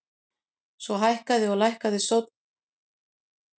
Svona hækkandi og lækkandi sónn átti að heyrast í þrjár mínútur samfleytt.